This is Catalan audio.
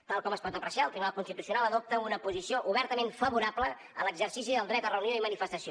tal com es pot apreciar el tribunal constitucional adopta una posició obertament favorable a l’exercici del dret a reunió i manifestació